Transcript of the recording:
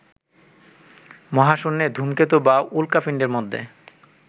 মহাশূন্যে, ধূমকেতু বা উল্কাপিন্ডের মধ্যে